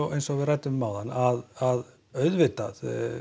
eins og við ræddum áðan að auðvitað